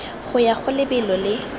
go ya go lebelo le